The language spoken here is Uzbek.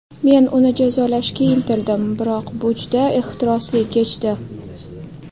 Men uni jazolashga intildim, biroq bu juda ehtirosli kechdi.